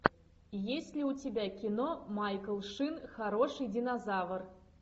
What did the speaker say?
есть ли у тебя кино майкл шин хороший динозавр